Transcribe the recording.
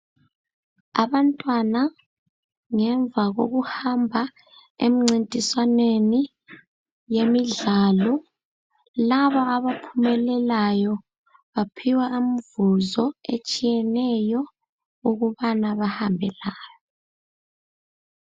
Abantwana ngemva kokuhamba emncintiswaneni yemidlalo laba abaphumelelayo baphiwa umvuzo etshiyeneyo ukubana bahambe layo.